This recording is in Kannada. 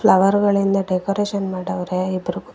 ಫ್ಲವರ್ ಗಳಿಂದ ಡೆಕೋರೇಷನ್ ಮಾಡವ್ರೆ ಇಬ್ಬರು ಕೂತ್ಕೊ--